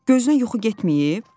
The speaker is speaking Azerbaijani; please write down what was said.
Gözünə yuxu getməyib?